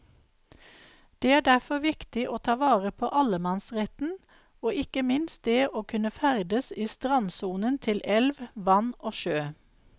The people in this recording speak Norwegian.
Det er derfor viktig å ta vare på allemannsretten og ikke minst det å kunne ferdes i strandsonen til elv, vann og sjø.